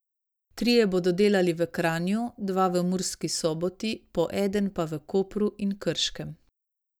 Trije bodo delali v Kranju, dva v Murski Soboti, po eden pa v Kopru in Krškem.